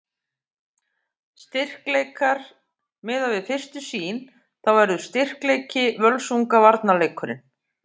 Styrkleikar: Miðað við fyrstu sýn þá verður styrkleiki Völsunga varnarleikurinn.